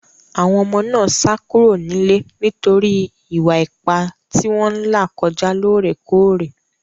Àwọn ọmọ náà sá kúrò nílé nítorí Ìwà-ipá tí wọ́n ń là kọjá lóòrèkóòrè.